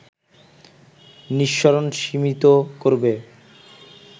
নিঃসরণ সীমিত করবে